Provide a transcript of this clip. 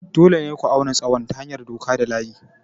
Dole ne ku auna tsawon ta hanyar doka da layi.